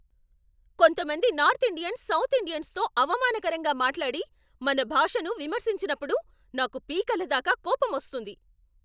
కొంతమంది north Indians south ఇండియన్సుతో అవమానకరంగా మాట్లాడి, మన భాషను విమర్శించినప్పుడు నాకు పీకలదాకా కోపంమొస్తుంది.